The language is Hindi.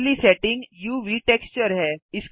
अगली सेटिंग उव टेक्सचर है